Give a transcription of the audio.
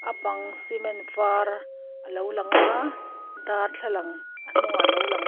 a bang cement var a lo lang aaa darthlalang a hnungah a lo lang--